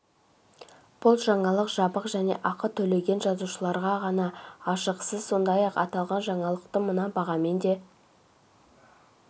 бұл жаңалық жабық және ақы төлеген жазылушыларға ғана ашық сіз сондай-ақ аталған жаңалықты мына бағамен де